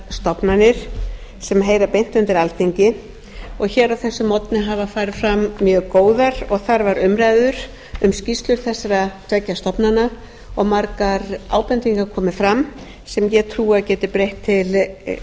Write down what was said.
stofnanir sem heyra beint undir alþingi og hér á þessum morgni hafa farið fram mjög góðar og þarfar umræður um skýrslur þessara tveggja stofnana og margar ábendingar komið fram sem ég trúi að